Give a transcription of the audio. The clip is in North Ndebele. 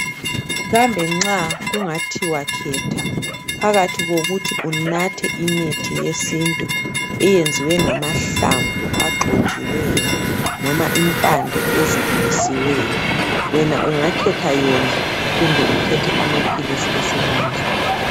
Kambe nxa kungathiwa khetha phakathi kokuthi unathe imithi yesintu eyenziwe ngamahlamvu agxotshiweyo loba impande ezibilisiweyo wena ungakhetha yona kumbe ukhethe amaphilisi esimanje.